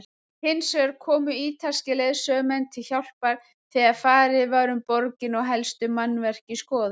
Hinsvegar komu ítalskir leiðsögumenn til hjálpar þegar farið var um borgina og helstu mannvirki skoðuð.